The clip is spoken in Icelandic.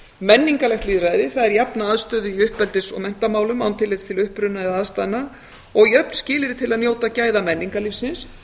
menningarlegt lýðræði það er jafna aðstöðu í uppeldis og menntamálum án tillits til uppruna eða aðstæðna og jöfn skilyrði til að njóta gæða menningarlífsins